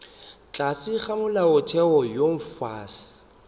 tlase ga molaotheo wo mofsa